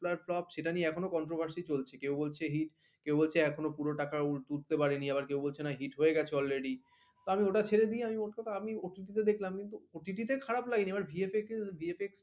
ওর flops সেটাকে নিয়ে এখনো controversy চলছে কেউ বলছে hit কেউ বলছে এখনো পুরো টাকা উঠতে পারেনি আবার কেউ বলছে না hit হয়ে গেছে already আমি ওটা ছেড়ে দিয়ে মোটকথা আমি ওর OTT দেখলাম কিন্তু OTT তে খারাপ লাগেনি এবার VFX থেকে VFX